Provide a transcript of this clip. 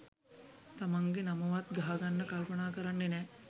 තමන්ගේ නමවත් ගහගන්න කල්පනා කරන්නේ නෑ.